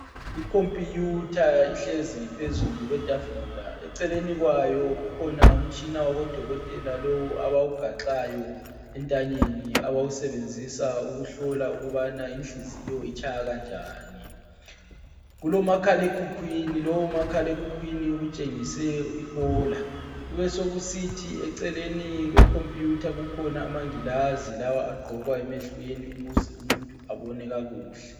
Ikhompiyutha ihlezi phezu kwetafula eceleni kwayo kukhona umtshina wabo dokotela lowu abawugaxayo entanyeni abawusebenzisa ukubona ukubana inhliziyo itshaya kanjani, kulomakhalekhukhwini lowu umakhalekhukhwini utshengise ihola, kubesokusithi eceleni kwe khompuyutha kukhona amangilazi lawa agqokwa emehlweni ukuze umuntu ebone kakuhle.